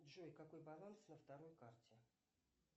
джой какой баланс на второй карте